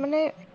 মানে